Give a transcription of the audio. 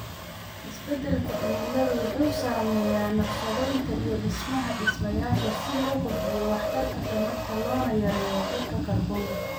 Isbeddelka cimiladu wuxuu saameeyaa naqshadeynta iyo dhismaha dhismayaasha si loo kordhiyo waxtarka tamarta loona yareeyo qiiqa kaarboonka.